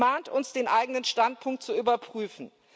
Sie mahnt uns, den eigenen Standpunkt zu überprüfen.